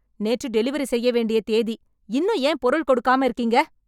நேற்று டெலிவரி செய்ய வேண்டிய தேதி இன்னும் ஏன் பொருள் கொடுக்காம இருக்கீங்க